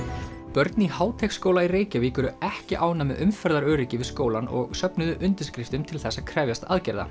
börn í Háteigsskóla í Reykjavík eru ekki ánægð með umferðaröryggi við skólann og söfnuðu undirskriftum til þess að krefjast aðgerða